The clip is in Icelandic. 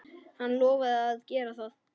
Hann lofaði að gera það.